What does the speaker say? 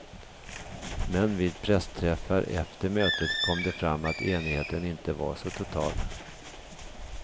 Men vid pressträffar efter mötet kom det fram att enigheten inte var så total.